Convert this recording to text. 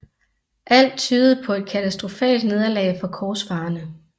Alt tydede på et katastrofalt nederlag for korsfarerne